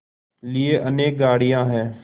लिए अनेक गाड़ियाँ हैं